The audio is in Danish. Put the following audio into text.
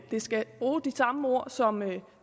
det skal bruge de samme ord som